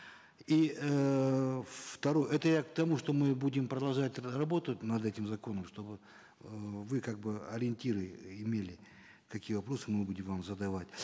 и эээ это я к тому что мы будем продолжать работать над этим законом чтобы э вы как бы ориентиры имели какие вопросы мы будем вам задавать